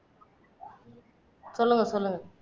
சொல்லுங்க சொல்லுங்க